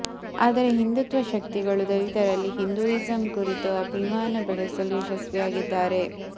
ಆದರೆ ಹಿಂದುತ್ವ ಶಕ್ತಿಗಳು ದಲಿತರಲ್ಲಿ ಹಿಂದೂಯಿಸಂ ಕುರಿತು ಅಭಿಮಾನ ಬೆಳೆಸಲು ಯಶಸ್ವಿಯಾಗಿದ್ದಾರೆ